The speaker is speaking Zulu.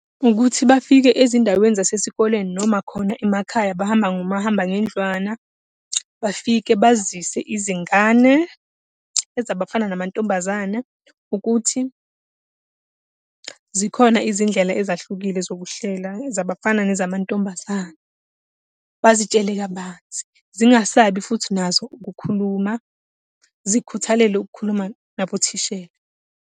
Ukuthi bafike ezindaweni zasesikoleni noma khona emakhaya bahamba ngomahambangendlwana. Bafike bazise izingane, ezabafana namantombazane ukuthi, zikhona izindlela ezahlukile zokuhlela zabafana nezamantombazane. Bazitshele kabanzi, zingasabi futhi nazo ukukhuluma, zikhuthalele ukukhuluma nabothishela.